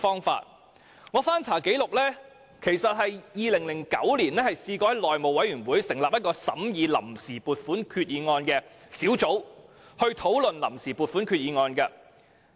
翻查紀錄 ，2009 年內務委員會曾成立一個審議臨時撥款決議案的小組委員會，討論臨時撥款決議案。